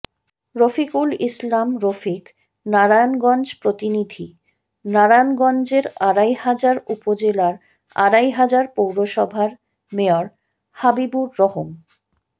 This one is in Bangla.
রফিকুল ইসলাম রফিক নারায়ণগঞ্জ প্রতিনিধিঃ নারায়ণগঞ্জের আড়াইহাজার উপজেলার আড়াইহাজার পৌরসভার মেয়র হাবিবুর রহম